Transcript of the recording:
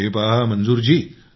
हे पहा मंजूर जी